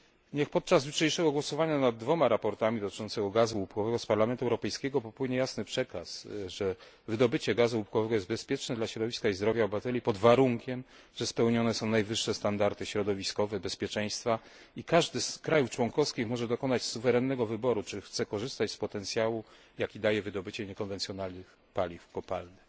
Niech podczas jutrzejszego głosowania nad dwoma sprawozdaniami dotyczącymi gazu łupkowego z Parlamentu Europejskiego popłynie jasny przekaz, że wydobycie gazu łupkowego jest bezpieczne dla środowiska i zdrowia obywateli pod warunkiem, że spełnione są najwyższe standardy środowiskowe, bezpieczeństwa, i każde z państw członkowskich może dokonać suwerennego wyboru, czy chce korzystać z potencjału, jaki daje wydobycie niekonwencjonalnych paliw kopalnych.